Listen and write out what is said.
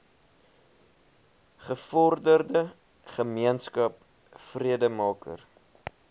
gevorderde gemeenskap vredemaker